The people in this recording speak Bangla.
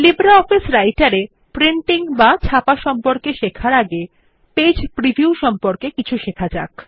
লিব্রিঅফিস রাইটের এ প্রিন্টিং সম্পর্কে শেখার আগে পেজ প্রিভিউ সম্পর্কে কিছু শেখা যাক